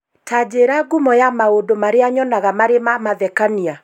Ta njĩĩra ngumo ya maũndũ marĩa nyonaga marĩ ma mathekania